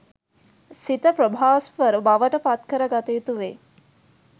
සිත ප්‍රභාස්වර බවට පත්කර ගත යුතු වේ.